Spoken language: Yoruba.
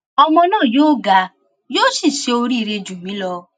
ọmọ náà yóò ga yóò sì ṣe oríire jù mí lọ